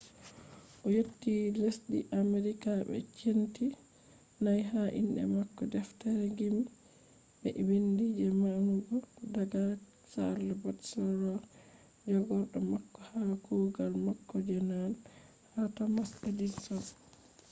o yotti lesdi amerika be centi 4 ha inde mako deftere gimi be bindi je manugo daga charles batchelor jagorɗo mako ha kuugal mako je nane ha thomas edison